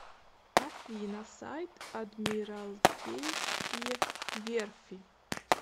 афина сайт адмиралтейские верфи